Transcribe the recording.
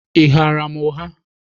Ị ghaara m ụgha?